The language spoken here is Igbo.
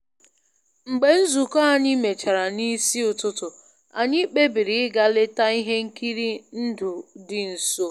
Mgbe nzukọ anyị mechara n’isi ụtụtụ, anyị kpebiri ịga leta ihe nkiri ndụ dị nso